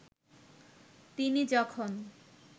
তিনি যখন